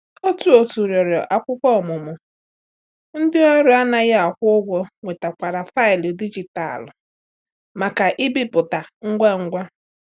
Otu òtù rịọrọ akwụkwọ ọmụmụ, ndị ọrụ anaghi akwụ ụgwọ nwetakwara faịlụ dijitalụ maka ibipụta ngwa ngwa.